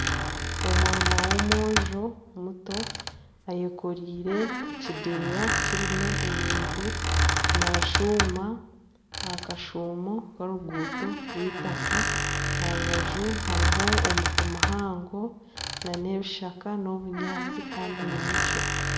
Omwana w'omwojo muto ayekoreire ekideeya kirimu ebintu naashuuma aha kashuumo k'oruguuto orw'eitaka aha rubaju hariho omuti muhango nana ebishaka, n'obunyaatsi kandi ninyekiro